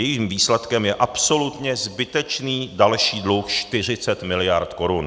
Jejím výsledkem je absolutně zbytečně další dluh 40 mld. korun.